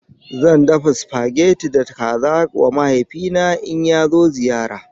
Zan dafa supageti da kaza wa mahaifina in ya zo ziyara.